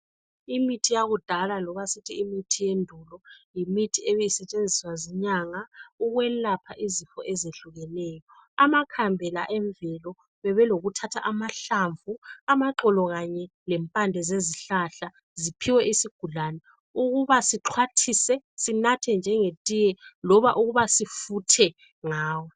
Imithi yakudala loba sithi imithi yendulo yimithi ebisetshenziswa zinyanga ukwelapha izifo ezehlukeneyo. Amakhambi la emvelo Bebelokuthatha amahlamvu amaxolo kanye lempande zezihlahla ziphiwe izigulane Ukuba sihlwathise sinathe njenge thiye loba ukuba sifuthe ngawo.